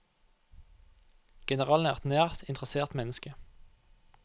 Generalen er et nært, interessert menneske.